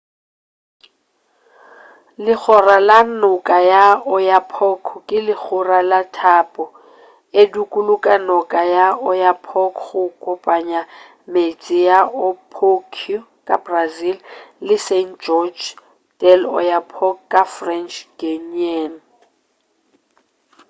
legora la noka ya oyapock ke legora la thapo e dukuluga noka ya oyapock go kopanya metse ya oiapoque ka brazil le saint-georges de i'oyapock ka french guiana